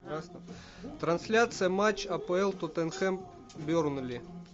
трансляция матча апл тоттенхэм бернли